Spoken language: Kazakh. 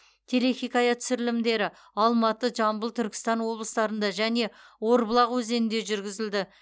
телехикая түсірілімдері алматы жамбыл түркістан облыстарында және орбұлақ өзенінде жүргізілді